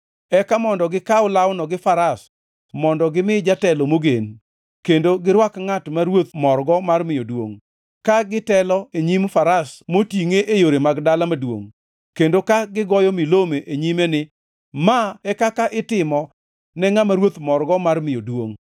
Eka mondo gikaw lawno gi faras mondo gimi jatelo mogen, kendo girwak ngʼat ma ruoth morgo mar miyo duongʼ, ka gitelo e nyim faras motingʼe e yore mag dala maduongʼ, kendo ka gigoyo milome e nyime ni, ‘Ma e kaka itimo ne ngʼama ruoth morgo mar miyo duongʼ!’ ”